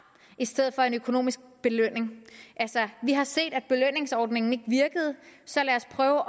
i stedet for en økonomisk belønning vi har set at belønningsordningen ikke virkede så lad os prøve